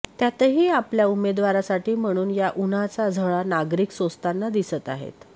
त्यातही आपल्या उमेदवारासाठी म्हणून या उन्हाच्या झळा नागरिक सोसताना दिसत आहेत